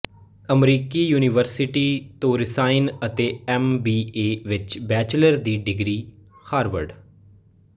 ਅਮਰੀਕੀ ਯੂਨੀਵਰਸਿਟੀ ਤੋਂ ਰਸਾਇਣ ਅਤੇ ਐਮ ਬੀ ਏ ਵਿੱਚ ਬੈਚੁਲਰ ਦੀ ਡਿਗਰੀ ਹਾਰਵਰਡ